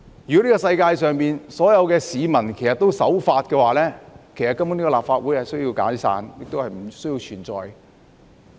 如果這世界上所有市民也守法，立法會根本已可以解散，亦不需要存在。